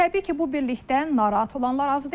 Təbii ki, bu birlikdən narahat olanlar az deyil.